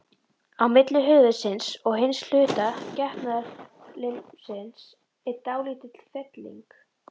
Á milli höfuðsins og hins hluta getnaðarlimsins er dálítil felling.